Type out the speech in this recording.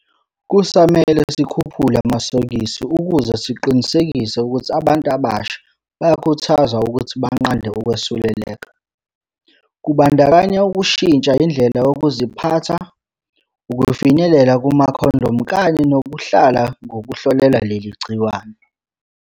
Kusamele sikhuphule amasokisi ukuze siqinisekise ukuthi abantu abasha bayakhuthazwa ukuthi banqande ukwesuleleka, kubandakanyaukushintsha indlela yokuziphatha, ukufinyelela kumakhondomu kanye nokuhlala ngokuhlolela leli gciwane.